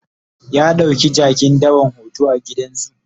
ya ɗauki jakin dawan hoto a gidan zoo